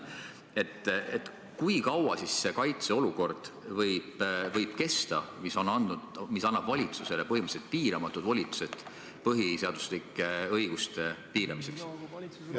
Ent kui kaua siis võib kesta see kaitseolukord, mis annab valitsusele põhimõtteliselt piiramatud volitused põhiseaduslike õiguste piiramiseks?